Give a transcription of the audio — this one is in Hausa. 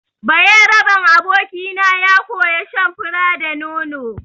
Bayaraben abokina ya koya shan fura da nono.